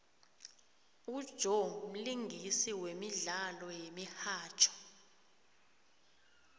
ujoe mlingisi wemdlalo yemihatjho